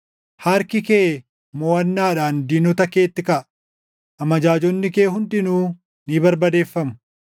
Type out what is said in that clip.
Harki kee moʼannaadhaan diinota keetti kaʼa; amajaajonni kee hundinuu ni barbadeeffamu.